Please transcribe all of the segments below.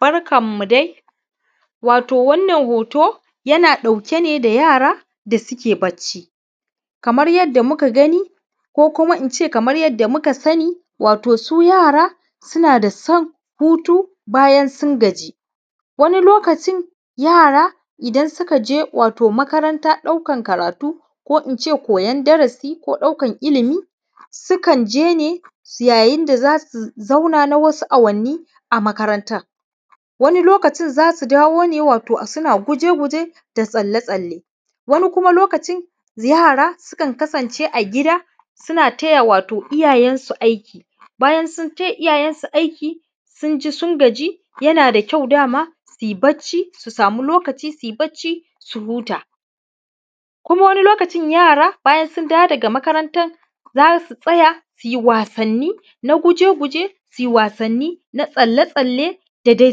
Barkanmu dai, wato wannan hoto yana ɗauke ne da yara da suke bacci, kamar yadda muka gani, ko kuma in ce kamar yadda muka sani, wato su yara suna da son hutu bayan sun gaji, wani lokacin yara idan suka je wato makaranta ɗaukan karatu ko in ce koyan darasi ko ɗaukan ilimi, su kan je, yayin da za su zauna na wasu awanni a makarantan, wani lokacin za su dawo ne wato suna guje-guje da tsalle-tsalle, wani lokacin kuma kuma yara sukan kasance a gida suna taya wato iyayensu aiki, bayan sun taya iyayensu aiki, sun ji sun gaji, yana da kyau dama su yi bacci, su samu lokaci su yi bacci, su huta, kuma wanni lokacin yara bayan sun dao wo ga makaranta za su tsaya su yi wasanni na guje-guje, su yi wasanni na tsalle-tsalle da dai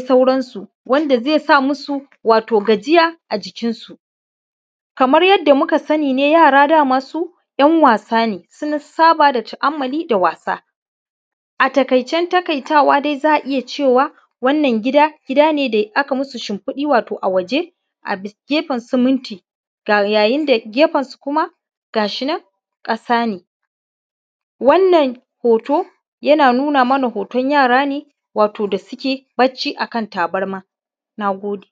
sauransu, wanda ze sa musu wato gajiya a jikinnsu, kamar yadda muka sani ne, yara dai dama su ‘yan wasa ne sun saboda tu’ammali da wasa, a taƙaicen taƙaitawa, dai za a iya cewa wannan gida gida ne da aka musu shinfiɗi wato a waje a gefen siminti ga, wainda gefen su kuma gashi nan ƙasa ne, wannan hoto yana nuna mana hoton yara ne wato da suke bacci akan tabarma. Na gode.